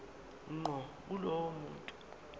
ngqo kulowo muntu